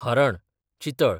हरण, चितळ